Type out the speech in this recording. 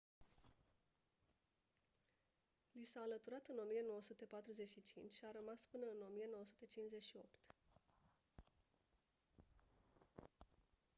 li s-a alăturat în 1945 și a rămas până în 1958